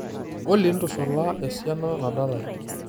olly ntushula esiana nadalae